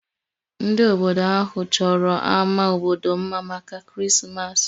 Ndị obodo ahụ chọrọ ámá obodo mma maka Krismas